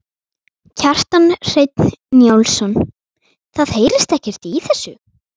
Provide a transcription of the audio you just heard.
Kjartan Hreinn Njálsson: Það heyrist ekkert í þessu?